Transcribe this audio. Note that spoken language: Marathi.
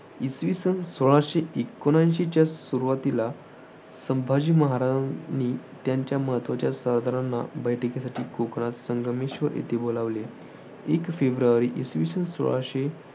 इसवी सन सोळाशे एकोणऐंशीच्या सुरुवातीला संभाजी महाराजांनी त्यांच्या महत्त्वाच्या सरदारांना बैठकीसाठी कोकणात संगमेश्वर येथे बोलावले. एक फेब्रुवारी, इसवी सन सोळाशे एकोणनव्वद